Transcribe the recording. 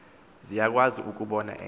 ziyakwazi ukubona enye